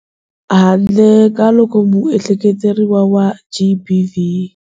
Handle ka loko muehleketeleriwa wa GBV.